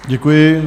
Děkuji.